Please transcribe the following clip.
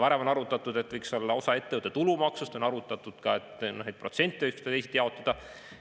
Varem on arutatud, et võiks olla osa ettevõtte tulumaksust, on arutatud ka, et neid protsente võiks teisiti jaotada.